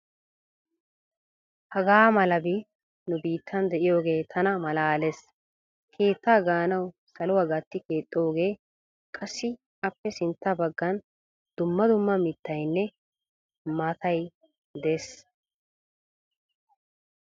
Hagaamalabi nu biittan diyogee tana malaales. Keettaa gaanawu saluwa gatti keexxoogee, qassi appe sintta baggan dumma dumma mittayinne maatayi des.